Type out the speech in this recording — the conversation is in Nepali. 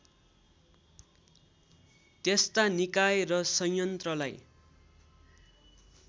त्यस्ता निकाय र संयन्त्रलाई